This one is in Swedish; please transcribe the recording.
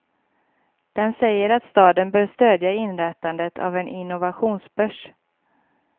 Den säger att staden bör stödja inrättandet av en innovationsbörs.